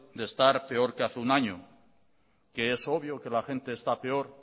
de estar peor que hace un año que es obvio que la gente está peor